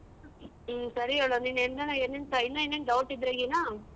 ಹ್ಮ್ ಸರಿ ಹೇಳು ನೀನ್ ಹೆಂಗನ ಏನೇನ್ ಇನ್ನೂ ಏನಾನ್ doubt ಇದ್ರಗಿನ.